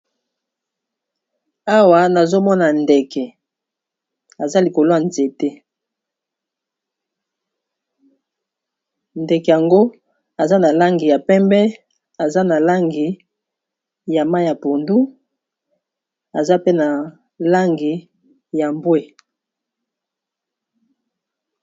awa nazomona ndeke aza likoloya nzete ndeke yango aza na langi ya pembe aza na langi ya ma ya pondu aza pe na langi ya mbwe